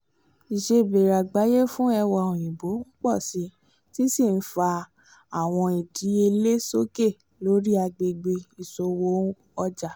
ìsebéèrè àgbáyé fún ẹwà-òyìnbó pọ si ti n sí n fà awọn ìdíyelé sókè lori agbègbè ìṣòwò ọjà